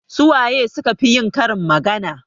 Su waye su ka fi yin karin magana?